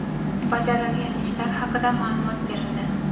bajarilgan ishlar haqida ma’lumot berildi.